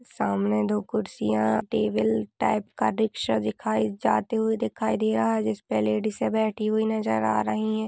सामने दो कुर्सियां टेबल टाइप का रिक्शा दिखाई जाते हुए दिखाई दे रहा है। जिस पर लैडीसें बैठी हुई नजर आ रहीं हैं।